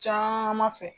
Caman fɛ